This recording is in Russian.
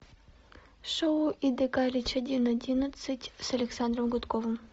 шоу иды галич один одиннадцать с александром гудковым